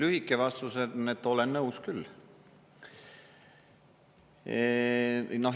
Lühike vastus on, et olen nõus küll.